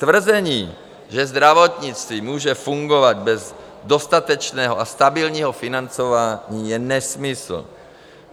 Tvrzení, že zdravotnictví může fungovat bez dostatečného a stabilního financování, je nesmysl.